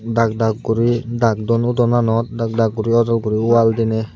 dag dag guri dag dun udonanot dag dag guri ojol guri wall diney.